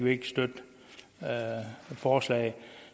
ikke støtte forslaget